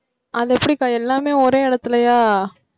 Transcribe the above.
அது எப்படிக்கா எல்லாமே ஒரே இடத்திலயா?